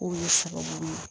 K'o bɛ sababu ye